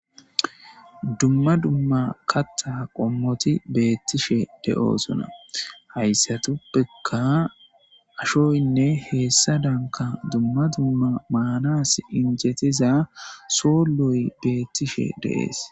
Dumma dumma katha qomoti beetishe de'osona , haysatappeka ashoyinne heysadanka dumma dumma maanasi injetiza soloyi beetishe de'es.